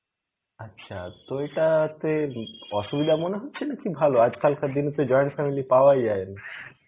আচ্ছা, তো এটা তে অসুবিধা মনে হচ্ছে নাকি ভালো? আজকালকার দিনে তো join family পাওয়াই যায়না.